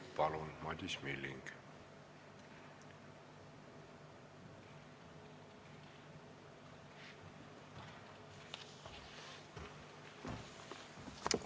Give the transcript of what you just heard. Palun, Madis Milling!